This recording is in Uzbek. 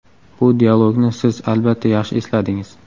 Bu dialogni siz, albatta, yaxshi esladingiz.